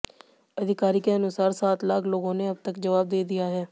अधिकारी के अनुसार सात लाख लोगों ने अब तक जवाब दे दिया है